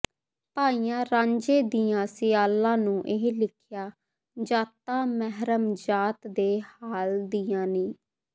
ਭਾਈਆਂ ਰਾਂਝੇ ਦਿਆਂ ਸਿਆਲਾਂ ਨੂੰ ਇਹ ਲਿਖਿਆ ਜ਼ਾਤਾਂ ਮਹਿਰਮ ਜ਼ਾਤ ਦੇ ਹਾਲ ਦੀਆਂ ਨੀ